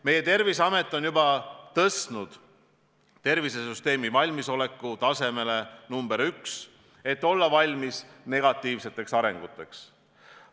Meie Terviseamet on juba tõstnud tervisesüsteemi valmisoleku tasemele number 1, et olla valmis negatiivseteks arenguteks.